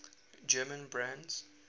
german brands